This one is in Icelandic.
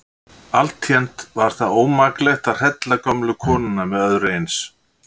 Altént var það ómaklegt að hrella gömlu konuna með öðru eins.